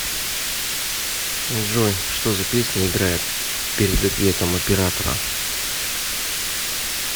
джой что за песня играет перед ответом оператора